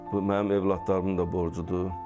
Bu mənim övladlarımın da borcudur.